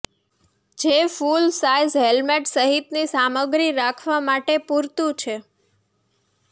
જે full size helmet સહિતની સામગ્રી રાખવા માટે પૂરતુ છે